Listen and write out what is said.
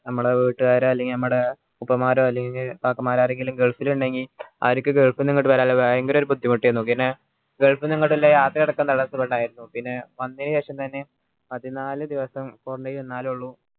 മ്മളെ വീട്ടുകാര് അല്ലെങ്കി ഉപ്പമാര് അല്ലെങ്കി ഇക്കാക്കമാര് ആരെങ്കി gulf ൽ ഇണ്ടെകി അവരിക്ക് gulf ന്ന് ഇങ്ങട്ട് വരാൻ ഭയങ്കര പിന്നെ gulf ന്ന് ഇങ്ങട്ട് ഇളള യാത്ര അടക്കം പിന്നെ വന്നെൻ ശേഷം തന്നെ പതിനാല് ദിവസം quarantine ഇരുന്നാലേ ഇള്ളു